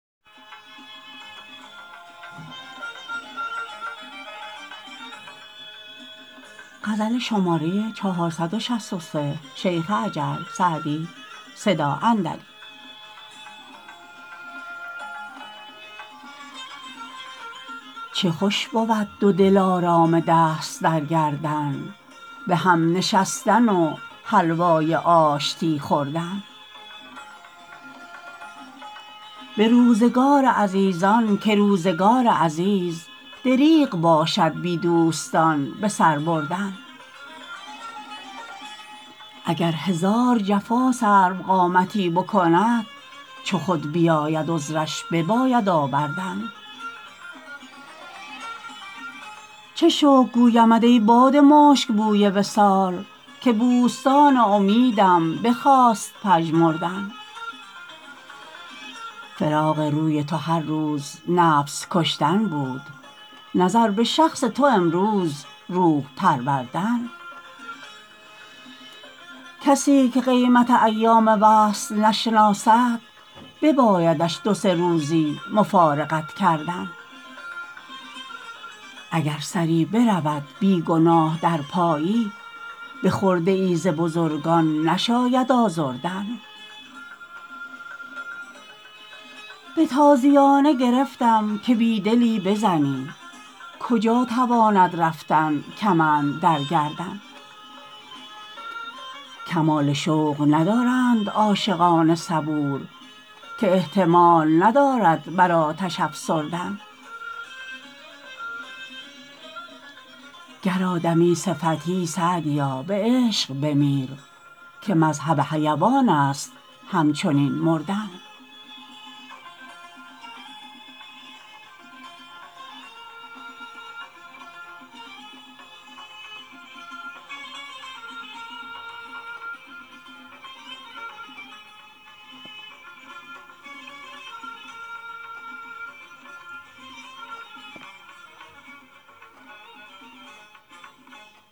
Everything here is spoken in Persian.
چه خوش بود دو دلارام دست در گردن به هم نشستن و حلوای آشتی خوردن به روزگار عزیزان که روزگار عزیز دریغ باشد بی دوستان به سر بردن اگر هزار جفا سروقامتی بکند چو خود بیاید عذرش بباید آوردن چه شکر گویمت ای باد مشک بوی وصال که بوستان امیدم بخواست پژمردن فراق روی تو هر روز نفس کشتن بود نظر به شخص تو امروز روح پروردن کسی که قیمت ایام وصل نشناسد ببایدش دو سه روزی مفارقت کردن اگر سری برود بی گناه در پایی به خرده ای ز بزرگان نشاید آزردن به تازیانه گرفتم که بی دلی بزنی کجا تواند رفتن کمند در گردن کمال شوق ندارند عاشقان صبور که احتمال ندارد بر آتش افسردن گر آدمی صفتی سعدیا به عشق بمیر که مذهب حیوان است همچنین مردن